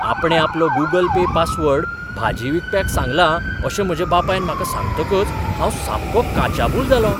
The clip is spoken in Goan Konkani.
आपणें आपलो गूगल पे पासवर्ड भाजी विकप्याक सांगलां अशें म्हज्या बापायन म्हाका सांगतकच हांव सामको काचाबूल जालों .